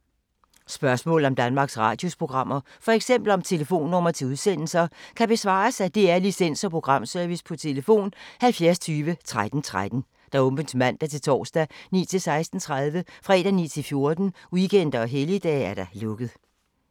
Spørgsmål om Danmarks Radios programmer, f.eks. om telefonnumre til udsendelser, kan besvares af DR Licens- og Programservice: tlf. 70 20 13 13, åbent mandag-torsdag 9.00-16.30, fredag 9.00-14.00, weekender og helligdage: lukket.